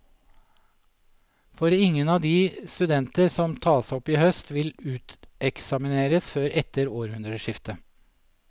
For ingen av de studenter som tas op i høst, vil uteksamineres før etter århundreskiftet.